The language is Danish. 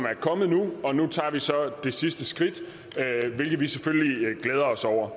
er kommet nu og nu tager vi så det sidste skridt hvilket vi selvfølgelig glæder os over